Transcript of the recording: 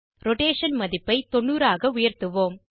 rotation மதிப்பை 90 ஆக உயர்த்துவோம்